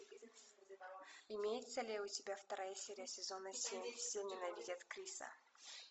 имеется ли у тебя вторая серия сезона семь все ненавидят криса